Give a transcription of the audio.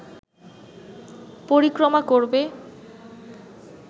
পরিক্রমা করবে